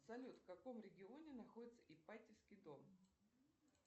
салют в каком регионе находится ипатьевский дом